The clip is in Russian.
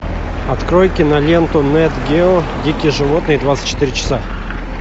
открой киноленту нат гео дикие животные двадцать четыре часа